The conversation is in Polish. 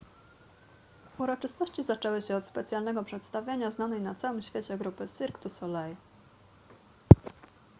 uroczystości zaczęły się od specjalnego przedstawienia znanej na całym świecie grupy cirque du soleil